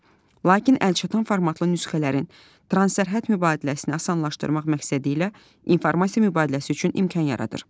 Lakin əlçatan formatlı nüsxələrin transsərhəd mübadiləsini asanlaşdırmaq məqsədilə informasiya mübadiləsi üçün imkan yaradır.